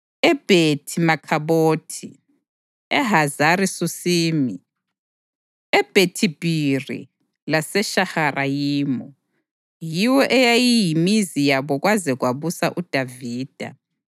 eBhethi-Makhabhothi, eHazari Susimi, eBhethi-Bhiri laseShaharayimu. Yiyo eyayiyimizi yabo kwaze kwabusa uDavida.